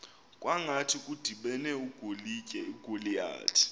kwangathi kudibene ugoliyathi